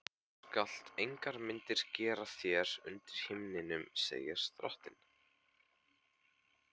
Þú skalt engar myndir gera þér undir himninum, segir drottinn.